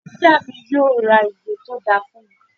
Ìyá mi yóò ra ìwé tó dáa fún mi